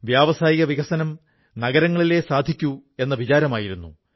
വ്യവസായവികസനം നഗരങ്ങളിലേ സാധിക്കൂ എന്ന വിചാരമായിരുന്നു